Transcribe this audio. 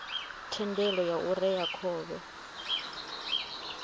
thendelo ya u rea khovhe